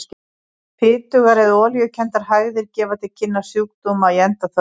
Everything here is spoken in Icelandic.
Fitugar eða olíukenndar hægðir gefa til kynna sjúkdóma í smáþörmum.